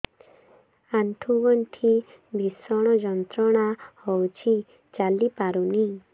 ଆଣ୍ଠୁ ଗଣ୍ଠି ଭିଷଣ ଯନ୍ତ୍ରଣା ହଉଛି ଚାଲି ପାରୁନି